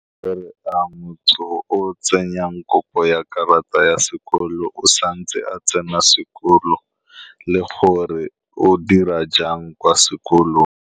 Fa moputso o o tsenyang kopo ya karata ya sekoloto. O santse a tsena sekolo le gore o dira jang kwa sekolong.